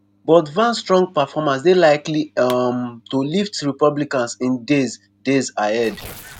but vance strong performance dey likely um to lift republicans in days days ahead.